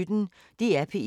DR P1